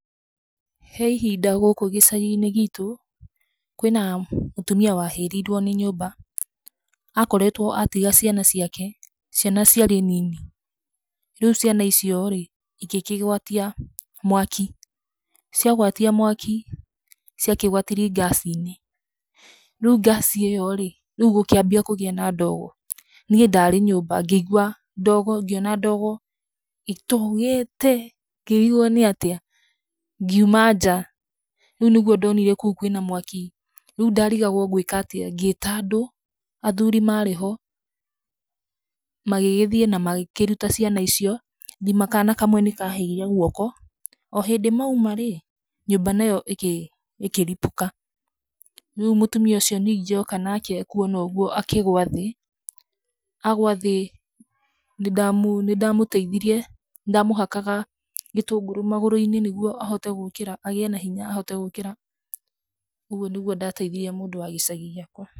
He ihinda gũkũ gĩcagi-inĩ gitũ, kwĩna, mũtumia wahĩrĩirwo nĩ nyũmba, akoretwo atiga ciana ciake, ciana ciarĩ nini, rĩu ciana icio rĩ, igĩkĩgwatia mwaki, ciagwatia mwaki, ciakĩgwatirie ngaci-inĩ, rĩu ngaci ĩyo rĩ, rĩu gũkĩambia kũgĩa na ndogo, niĩ ndarĩ nyũmba, ngĩigua ndogo, ngĩona ndogo, ĩtogete, ngĩrigwo nĩatĩa, ngiuma nja, rĩu nĩguo ndonire kũu kwĩna mwaki, rĩu ndarigagwo ngwĩka atĩa, ngĩta andũ, athuri marĩ ho, magĩgĩthiĩ na makĩruta ciana icio, thima kana kamwe nĩkahĩire guoko, o hĩndĩ mauma rĩ, nyũmba nayo ĩkĩripũka, rĩu ningĩ mũtumia ũcio ningĩ oka nake kuona ũguo akĩgwa thĩ, agwa thĩ nĩnda mu nĩndamũteithirie, nĩndamũhakaga gĩtũngũrũ magũrũ-inĩ nĩguo ahote gũkĩra, agĩe na hinya ahote gũkĩra, ũguo nĩguo ndateithirie mũndũ wa gĩcagi gĩakwa.